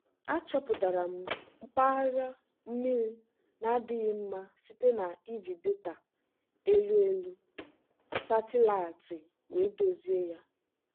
achọpụtara m mpaghara mmiri na-adịghị mma site na iji data elu elu satịlaịtị wee dozie ya.